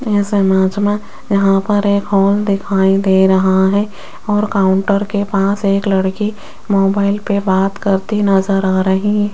इस इमेज में यहां पर एक हॉल दिखाई दे रहा है और काउंटर के पास एक लड़की मोबाइल पर बात करती नजर आ रही --